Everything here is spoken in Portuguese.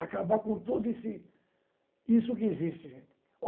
Acabar com tudo isso isso que existe.